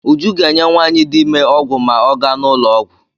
Uju ga-enye nwaanyị di ime ọgwụ ma ọ ga n'ụlọọgwụ.